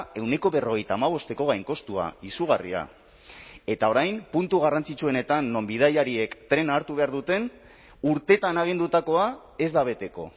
ehuneko berrogeita hamabosteko gainkostua izugarria eta orain puntu garrantzitsuenetan non bidaiariek trena hartu behar duten urteetan agindutakoa ez da beteko